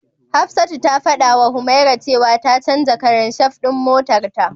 Hafsatu ta fadawa Humaira cewa ta canja karan shaf din motarta.